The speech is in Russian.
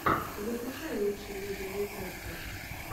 закачай лучшие видеорецепты